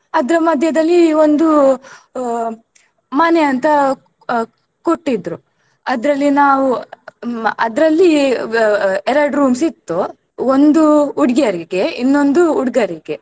ಅದ್ರ ಮಧ್ಯೆದಲ್ಲಿ ಒಂದು ಆ ಮನೆಯಂತ ಆ ಕೊಟ್ಟಿದ್ರೂ ಆದ್ರಲ್ಲಿ ನಾವು ಮ~ ಅದ್ರಲ್ಲಿ ವ~ ಎರಡ್ rooms ಇತ್ತು ಒಂದು ಹುಡ್ಗಿಯರಿಗೆ ಇನೊಂದು ಹುಡ್ಗರಿಗೆ.